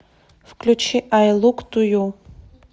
включи ай лук ту ю